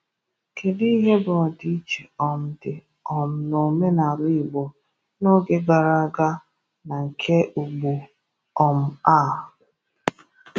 Kedu ihe bụ ọdịìchè um dị um n’omenala Igbo n’oge gara aga na nke ugbu um a?